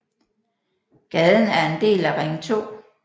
Gaden er en del af Ring 2